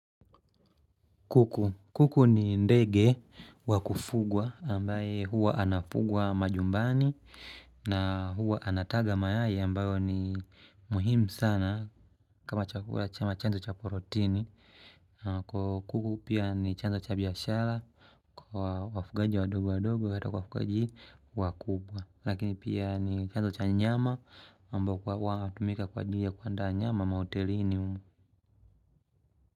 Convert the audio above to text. Kuku. Kuku ni ndege wakufugwa ambaye huwa anafugwa manyumbani na huwa anataga mayai ambayo ni muhimu sana kama chanzo cha protini. Kwa kuku pia ni chanzo cha biashara kwa wafugaji wadogo wadogo ata wafugaji wa kubwa. Lakini pia ni chanzo cha nyama ambayo wanatumika kwa ajili ya kupata nyama mahotelini humu.